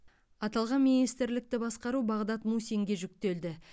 аталған министрлікті басқару бағдат мусинге жүктелді